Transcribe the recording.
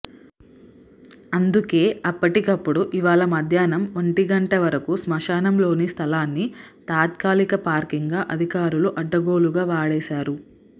అందుకే అప్పటికప్పుడు ఇవ్వాళ మధ్యాహ్నం ఒంటిగంటవరకు శ్మశానంలోని స్థలాన్ని తాత్కాలిక పార్కింగ్ గా అధికారులు అడ్డగోలుగా వాడేశారు